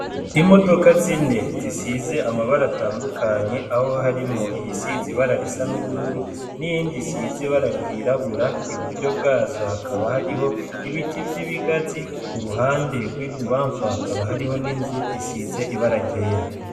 Imodoka zine zisize amabara atandukanye aho harimwo iyi sizibararisa n'ubururu n'iyndi size ibararyirabura i buryo bwazo hakaba hariho ibiti vy'ibigazi ku ruhande rw'ibubamfu hakaba hariho n'inzu isize ibaragera.